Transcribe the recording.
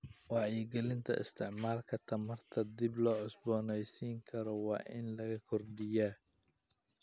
Wacyigelinta isticmaalka tamarta dib loo cusbooneysiin karo waa in la kordhiyaa.